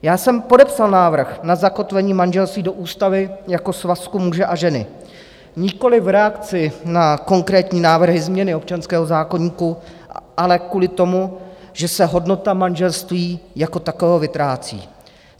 Já jsem podepsal návrh na zakotvení manželství do ústavy jako svazku muže a ženy nikoliv v reakci na konkrétní návrhy změny občanského zákoníku, ale kvůli tomu, že se hodnota manželství jako takového vytrácí.